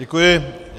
Děkuji.